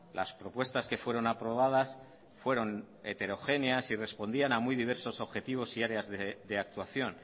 las propuestas que fueron aprobadas fueron heterogéneas y respondían a muy diversos objetivos y áreas de actuación